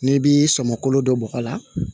N'i bi sɔmɔkolo dɔ bɔgɔ la